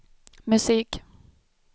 musik